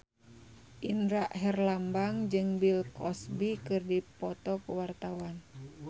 Indra Herlambang jeung Bill Cosby keur dipoto ku wartawan